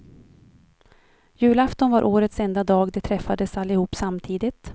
Julafton var årets enda dag de träffades allihop samtidigt.